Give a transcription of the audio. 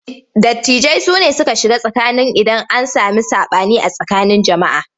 Dattijai sune suke shiga tsakani idan an sami saɓani a tsakanin jama'a.